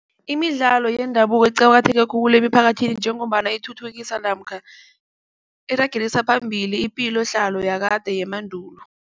Imidlalo yendabuko iqakatheke khulu emphakathini njengombana ithuthukisa namkha iragelisa phambili ipilohlalo yakade yemandulo.